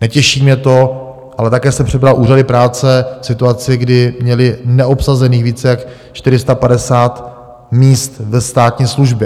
Netěší mě to, ale také jsem přebral úřady práce v situaci, kdy měly neobsazených více než 450 míst ve státní službě.